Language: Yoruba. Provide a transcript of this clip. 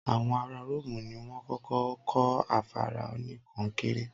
Àwọn ará Ró́òmù ni wọ́n kọ́kọ́ kọ́ afárá oníkọnkéré.